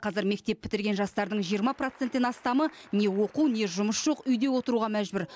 қазір мектеп бітірген жастардың жиырма проценттен астамы не оқу не жұмыс жоқ үйде отыруға мәжбүр